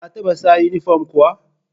Ka taɓa saka inifom kuwa?